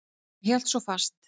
Hann hélt svo fast.